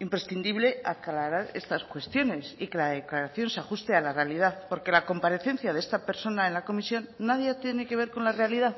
imprescindible aclarar estas cuestiones y que la declaración se ajuste a la realidad porque la comparecencia de esta persona en la comisión nadie tiene que ver con la realidad